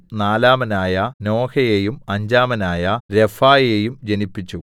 നാലാമനായ നോഹയെയും അഞ്ചാമനായ രഫായെയും ജനിപ്പിച്ചു